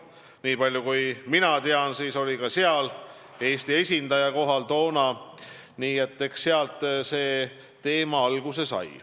Niipalju, kui mina tean, siis oli seal ka Eesti esindaja toona kohal, nii et eks sealt see teema alguse sai.